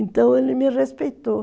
Então ele me respeitou.